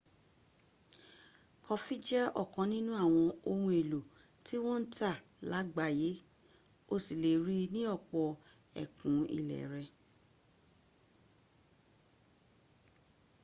kọfí jẹ́ ọ̀kan nínú àwọn ohun èlò tí wọ́n ń tà lágbàáyé o sì lè rí i ní ọ̀pọ̀ ẹkùn ilé rẹ